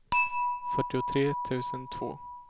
fyrtiotre tusen två